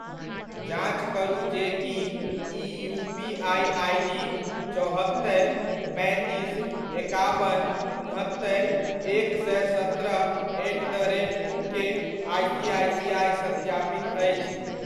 जाँच करू जे कि ई यूपीआइ आइडी चौहत्तरि पैंतीस एकाबन उनहत्तरि एक सए सत्रह एट द रेट ओकेआइसीआइसीआइ सत्यापित अछि ?